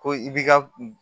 Ko i b'i ka